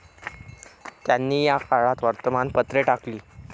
त्यांनी या काळात वर्तमानपत्रे टाकली.